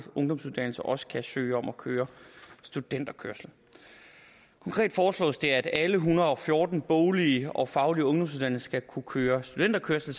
ungdomsuddannelser også kan søge om at køre studenterkørsel konkret foreslås det at alle en hundrede og fjorten boglige og faglige ungdomsuddannelser skal kunne køre studenterkørsel